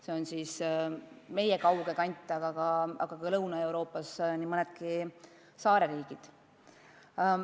Selline on meie kauge kant, Lõuna-Euroopas on säärased mõned saareriigid.